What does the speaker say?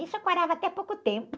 Isso eu quarava até há pouco tempo.